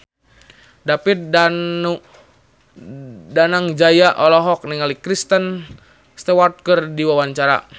David Danu Danangjaya olohok ningali Kristen Stewart keur diwawancara